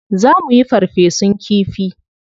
Za muyi farfesun kifi.